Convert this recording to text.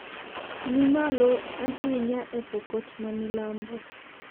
ni malo ahinya e Pokot ma milambo